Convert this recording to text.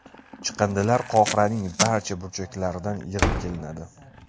Chiqindilar Qohiraning barcha burchaklaridan yig‘ib kelinadi.